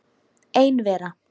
Ein vera.